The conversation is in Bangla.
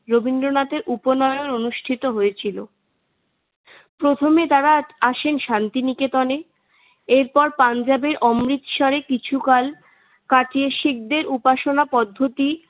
রবীন্দ্রনাথের উপনয়ন অনুষ্ঠিত হয়েছিল। প্রথমে তারা আসেন শান্তি নিকেতনে পাঞ্জাবের অমৃতসরে কিছুকাল কাটিয়ে শিখদের উপাসনা পদ্ধতি